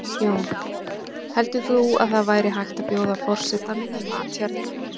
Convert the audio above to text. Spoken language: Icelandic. Jón: Heldur þú að það væri hægt að bjóða forsetanum í mat hérna?